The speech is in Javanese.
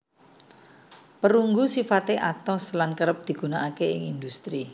Perunggu sifate atos lan kerep digunakake ing industri